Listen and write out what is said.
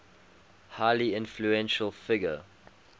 highly influential figure